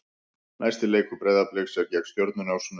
Næsti leikur Breiðabliks er gegn Stjörnunni á sunnudag.